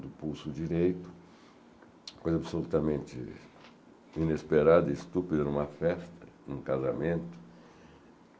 do pulso direito, coisa absolutamente inesperada e estúpida em uma festa, em um casamento.